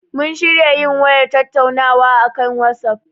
Mun shirya yin wayar tattaunawa a akan watsaf.